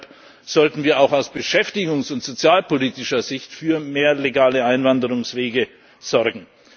Deshalb sollten wir auch aus beschäftigungs und sozialpolitischer Sicht für mehr legale Einwanderungwege sorgen.